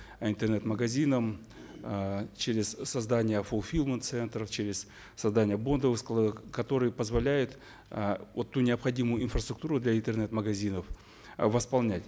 интернет магазинам э через создание фулфилмент центров через создание бондовых складов которые позволяют э вот ту необходимую инфраструктуру для интернет магазинов э восполнять